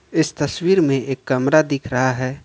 इस तस्वीर में एक कमरा दिख रहा हैं।